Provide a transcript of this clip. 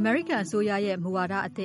မေရိကန်အစိုးရဲ့ မူဝါဒအသ